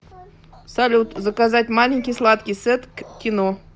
салют заказать маленький сладкий сет к кино